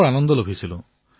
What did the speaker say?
মোৰ বহুত ভাল লাগিল